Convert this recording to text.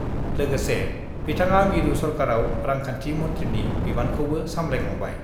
लोगोसे बिथाङा मिरु सरकाराव रांखान्थि मन्थ्रिनि बिबानखौबो सामलायखांबाय।